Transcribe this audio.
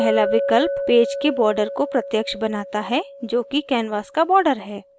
पहला विकल्प पेज के border को प्रत्यक्ष बनाता है जोकि canvas का border है